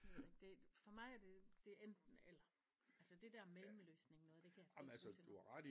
Det ved jeg ikke det for mig er det det enten eller altså det der mellemløsning noget det kan jeg sgu ikke bruge til noget